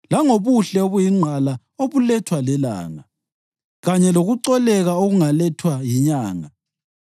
langobuhle obuyingqala obulethwa lilanga kanye lokucoleka okungalethwa yinyanga;